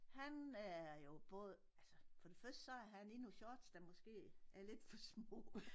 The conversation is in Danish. Han er jo både altså for det første så er han i nogle shorts der måske er lidt for små